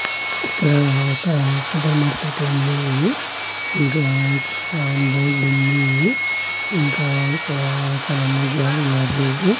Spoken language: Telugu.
ఇక్కడ ఒక సూపర్ మార్కెట్ ఉంది ఇంకా ఇక్కడ బోర్డుండి ఇంకా ఇక్కడ చానా మంది జనాలున్నారు.